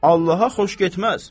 Allaha xoş getməz.